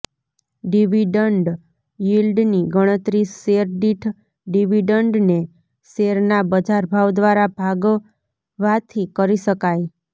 dividend યીલ્ડની ગણતરી શેર દીઠ ડિવિડન્ડને શેરના બજારભાવ દ્વારા ભાગવાથી કરી શકાય